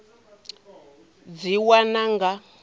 tea u dzi wana nga